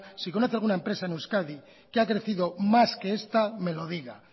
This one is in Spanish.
si conoce alguna empresa en euskadi que ha crecido más que esta me lo diga